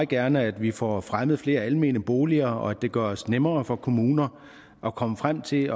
gerne at vi får fremmet flere almene boliger og at det gøres nemmere for kommunerne at komme frem til